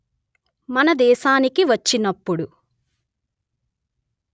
మన దేశానికి వచ్చినప్పుడు